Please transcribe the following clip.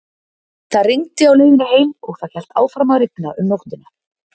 Það rigndi á leiðinni heim og það hélt áfram að rigna um nóttina.